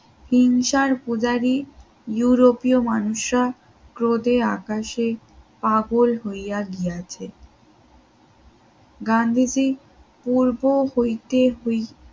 হিংসার পূজারী ইউরোপীয় মানুষরা ক্রোধে আকাশে পাগল হইয়া গিয়াছে গান্ধীজি পূর্ব হইতে হই